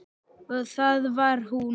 Og það var hún.